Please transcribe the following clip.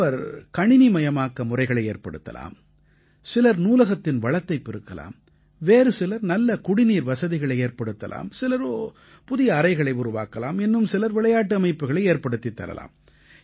ஒருவர் கணினிமயமாக்க முறைகளை ஏற்படுத்தலாம் சிலர் நூலகத்தின் வளத்தைப் பெருக்கலாம் வேறு சிலர் நல்ல குடிநீர் வசதிகளை ஏற்படுத்தலாம் சிலரோ புதிய அறைகளை உருவாக்கலாம் இன்னும் சிலர் விளையாட்டு அமைப்புக்களை ஏற்படுத்தித் தரலாம்